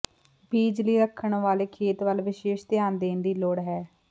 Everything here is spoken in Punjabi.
ਬੀਜ ਲਈ ਰੱਖਣ ਵਾਲੇ ਖੇਤ ਵੱਲ ਵਿਸ਼ੇਸ਼ ਧਿਆਣ ਦੇਣ ਦੀ ਲੋੜ ਹੈ